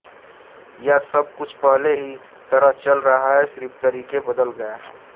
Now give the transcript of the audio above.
या सब कुछ पहले की ही तरह चल रहा है सिर्फ तरीके बदल गये हैं